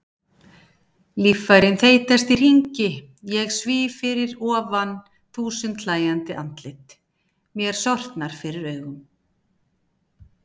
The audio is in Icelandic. Líffærin þeytast í hringi, ég svíf fyrir ofan þúsund hlæjandi andlit, mér sortnar fyrir augum.